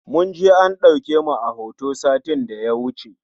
Mun je an ɗauke mu a hoto satin da ya wuce